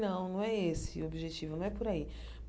Não, não é esse o objetivo, não é por aí.